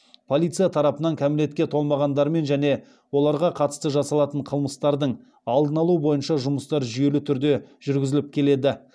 полиция тарапынан кәмелетке толмағандармен және оларға қатысты жасалатын қылмыстардың алдын алу бойынша жұмыстар жүйелі түрде жүргізіліп келеді